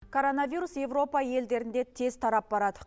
коронавирус европа елдерінде тез тарап барады